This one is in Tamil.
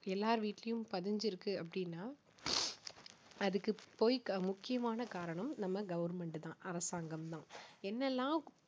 எல்லார் வீட்டிலும் பதிஞ்சிருக்கு அப்படின்னா அதுக்கு போய் க~ முக்கியமான காரணம் நம்ம government தான் அரசாங்கம் தான் என்னெல்லாம்